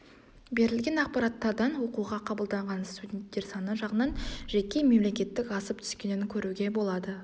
берілген ақпараттардан оқуға қабылданған студенттер саны жағынан жеке мемлекеттік асып түскенін көруге болады